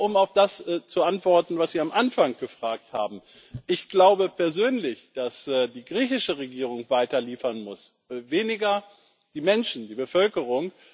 Aber um auf das zu antworten, was Sie am Anfang gefragt haben Ich glaube persönlich, dass die griechische Regierung weiter liefern muss weniger die Menschen, die Bevölkerung.